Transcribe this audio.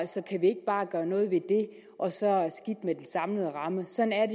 så kan vi ikke bare gøre noget ved det og så skidt med den samlede ramme sådan er